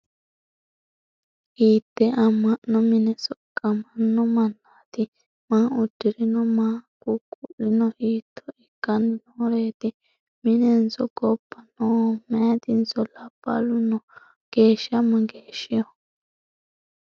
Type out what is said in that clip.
Hiitte ama'no minne soqaammanno mannaatti? Maa udirinno? Maa gugu'linno ? Hiitto ikkanni nooreetti? Minenso gobba nooho? Mayittinso labbalunno noo? Geesha mageeshshiho?